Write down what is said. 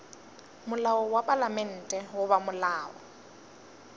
molao wa palamente goba molao